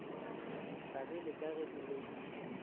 hlagile ka ge e le